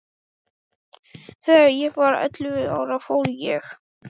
Þegar ég var ellefu ára fór ég að lokast.